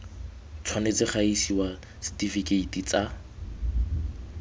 tshwanetse ga isiwa setifikeiti tsa